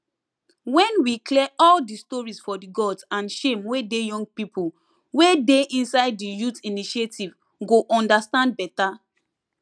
wen we clear all de stories for di gods and shame wey dey young people wey dey inside di youth initiative go understand better